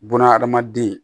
Buna adamaden